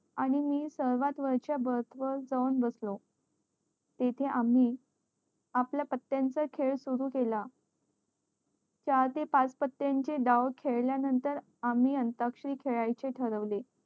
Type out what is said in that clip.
आणि मी सगळ्यत वरच्या वर जाऊन बसलो तेथे आम्ही आपला पत्या चा खेळ सुरु केला चार ते पाच पत्या चे डाव खेळ्या नंतर आम्ही अंताक्षरी खेळायचे ठरवले